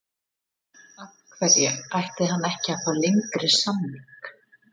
Af hverju ætti hann ekki að fá lengri samning?